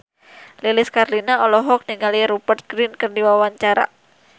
Lilis Karlina olohok ningali Rupert Grin keur diwawancara